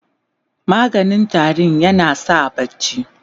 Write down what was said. maganin tarinya na sa barci